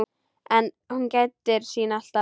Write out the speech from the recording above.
En hún gætir sín alltaf.